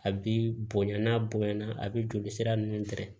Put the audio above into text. A bi bonya n'a bonya na a bi joli sira nunnu tɛrɛ